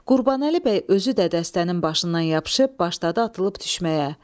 Qurbanəli bəy özü də dəstənin başından yapışıb başladı atılıb düşməyə.